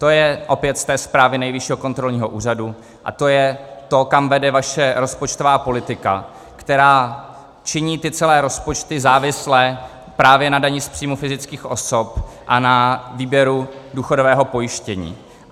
To je opět z té zprávy Nejvyššího kontrolního úřadu a to je to, kam vede vaše rozpočtová politika, která činí ty celé rozpočty závislé právě na dani z příjmu fyzických osob a na výběru důchodového pojištění.